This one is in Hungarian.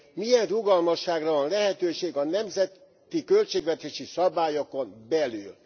Milyen rugalmasságra van lehetőség a nemzeti költségvetési szabályokon belül?